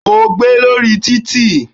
O gbé lórí títì.